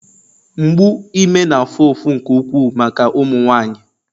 mgbu ime na-afụ ụfụ nke ukwuu maka ụmụ nwanyị